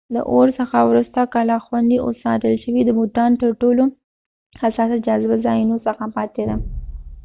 د اور څخه وروسته کلا خوندي او ساتل شوې د بوتان ترټولو حساسه جاذبه ځایونو څخه پاتې ده